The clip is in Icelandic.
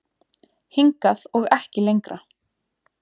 Hingað og ekki lengra